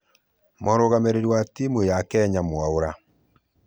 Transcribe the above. Mũrũgamĩrĩri wa timu ya kenya mwaura